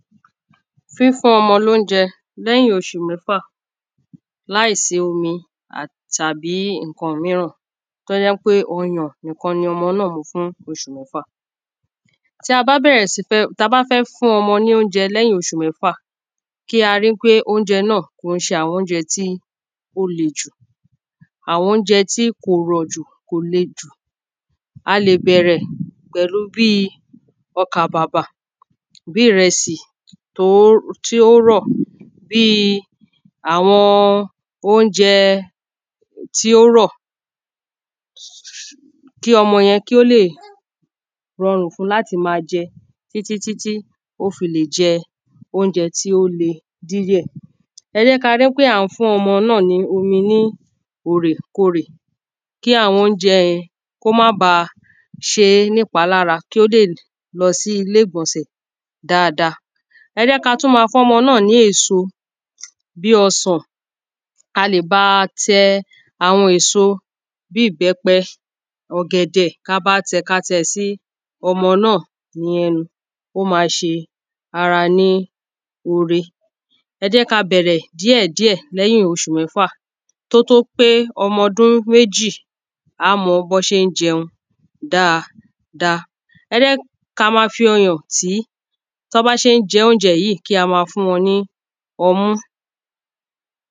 Fífún ọmọ lóúnjẹ lẹ́yìn oṣù mẹ́fà láìsí omi tàbí nǹkã míràn tó jẹ́ pé oyàn nìkan lomo nâ ń mu fún oṣù mẹ́fà. Tí a bá bẹ̀rẹ̀ sí fẹ́ tá bá fẹ́ fún ọmọ ní óúnjẹ lẹ́yìn ọṣù mẹ́fà kí a rí pé óúnjẹ náà kìí ṣe àwọn óúnjẹ́ tí ó lè jù Àwọn óúnjẹ tí kò le jù kò rọ̀ jù. A lè bẹ̀rẹ̀ pẹ̀lú bí ọkà bàbà bí ìrẹsì tó tí ó rọ̀ bí àwọn óúnjẹ tí ó rọ̀ kí ọmọ yẹn kí ó lè rọrùn fún láti má jẹ títí títí ó fi lè jẹ óúnjẹ̣ tí ó le díẹ̀. Ẹ jẹ́ ká rí pé à ń fún ọmọ náà ní omi ní òrèkorè kí àwọn óúnjẹ yẹn kó má ba ṣé nípa lára kí ó lè lọ sí ilé ìgbọ̀nsẹ̀ dáada. Ẹ jẹ́ ká tún mọ́ fọ́mọ náà ní èso bí ọsàn a lè bá tẹ àwọn èso bí ìbẹ́pẹ ọ̀gẹ̀dẹ̀ ká bá tẹ̀ ka tẹ̀ sí ọmọ náà ní ẹnu ó má ṣe ara ní ore. Ẹ jẹ́ ká bẹ̀rẹ̀ díẹ̀ díẹ̀ lẹ́yìn oṣù mẹ́fà tó tó pé ọmọ ọdún méjì á mọ bọ́n ṣé ń jẹun dáada. Ẹ jẹ́ ká má fi ọyàn tìí tán bá ṣe ń jẹ́ óúnjẹ yíì kí á má fún wọn ní ọmú.